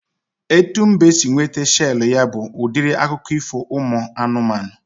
Etu mbe si nweta shelu ya bụ udiri akụkọ ifo ụmụ anụmanụ